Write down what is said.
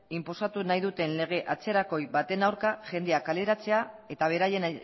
inposatu nahi duten lege atzerakoi baten aurka jendea kaleratzea eta beraien